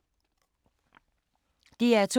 DR2